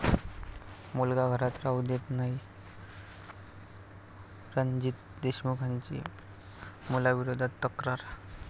मुलगा घरात राहू देत नाही, रणजीत देशमुखांची मुलाविरोधात तक्रार